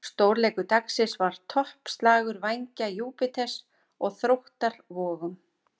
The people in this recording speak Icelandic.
Stórleikur dagsins var toppslagur Vængja Júpíters og Þróttar Vogum.